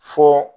Fɔ